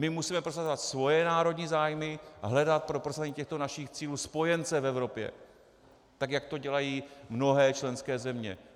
My musíme prosazovat svoje národní zájmy a hledat pro prosazování těchto našich cílů spojence v Evropě, tak jak to dělají mnohé členské země.